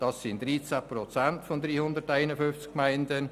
Dies sind 13 Prozent von unseren 351 Gemeinden.